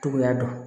Cogoya dɔn